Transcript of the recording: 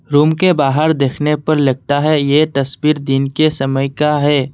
Room के बाहर देखने पर लगता है ये तस्वीर दिन के समय का है।